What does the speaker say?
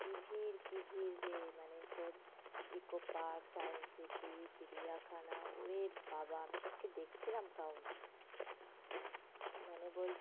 কি ভিড় কি ভিড় রে? মানে তোর ইকোপার্ক, সায়েন্সসিটি, চিড়িয়াখানা ওরেবাবা আমি সেদিনকে দেখছিলাম crowd. মানে বলছে